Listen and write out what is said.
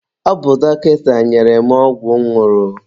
Ọ bụ dọkịta nyere m ọgwụ m ñụrụ.